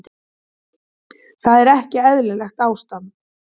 Þar er ekki eðlilegt ástand.